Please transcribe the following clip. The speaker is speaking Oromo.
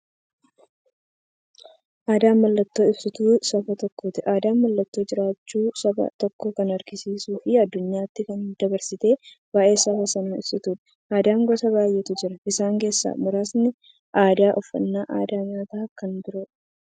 Aadaan mallattoo ibsituu saba tokkooti. Aadaan mallattoo jiraachuu saba tokkoo kan agarsiistufi addunyyaatti dabarsitee waa'ee saba sanaa ibsituudha. Aadaan gosa baay'eetu jira. Isaan keessaa muraasni aadaa, uffannaa aadaa nyaataafi kan biroo.